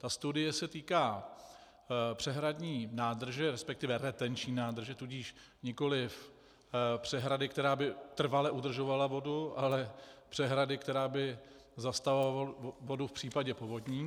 Ta studie se týká přehradní nádrže, respektive retenční nádrže, tudíž nikoliv přehrady, která by trvale udržovala vodu, ale přehrady, která by zastavovala vodu v případě povodní.